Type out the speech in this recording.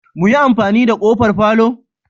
Muyi amfani da kofar palour?